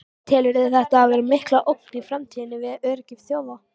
Telurðu þetta vera mikla ógn í framtíðinni við öryggi þjóða?